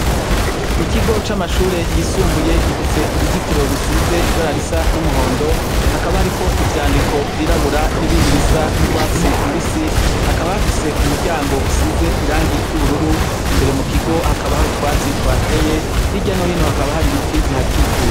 Ikigo c'amashure yisumbuye gifise uruzitiro rusize ibara risa n'umuhondo; hakaba hariko ivyandiko vyirabura n'ibindi bisa n'urwatsi rubisi. Hakaba hafise umuryango usize irangi ry'ubururu. Imbere mu kigo hakaba hari utwatsi tuhateye. Hirya no hino hakaba hari ibiti bihakikuje.